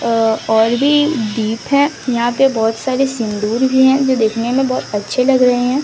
अह और भी दीप है यहां पे बहोत सारे सिंदूर भी है जो देखने में बहोत अच्छे लग रहे हैं।